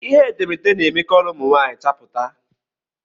Ihe etemeete na-eme kọlọ ụmụ nwaanyị chapụma.